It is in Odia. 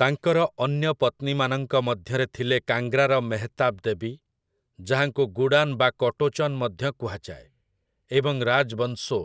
ତାଙ୍କର ଅନ୍ୟ ପତ୍ନୀମାନଙ୍କ ମଧ୍ୟରେ ଥିଲେ କାଙ୍ଗ୍ରାର ମେହତାବ ଦେବୀ, ଯାହାଙ୍କୁ ଗୁଡ଼ାନ୍ ବା କଟୋଚନ୍ ମଧ୍ୟ କୁହାଯାଏ, ଏବଂ ରାଜ୍ ବଂସୋ,